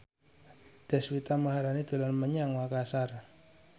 Deswita Maharani dolan menyang Makasar